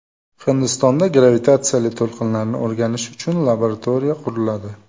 Hindistonda gravitatsiyali to‘lqinlarni o‘rganish uchun laboratoriya quriladi .